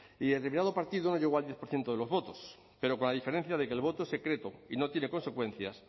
y determinado partido no llegó al diez por ciento de los votos pero con la diferencia de que el voto secreto y no tiene consecuencias